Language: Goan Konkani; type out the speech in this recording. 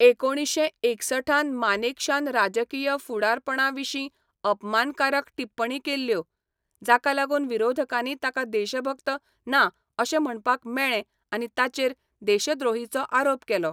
एकुणीशें एकसठ त मानेकशान राजकीय फुडारपणाविशीं अपमानकारक टिप्पणी केल्यो, जाका लागून विरोधकांनी ताका देशभक्त ना अशें म्हणपाक मेळ्ळें आनी ताचेर देशद्रोहीचो आरोप केलो.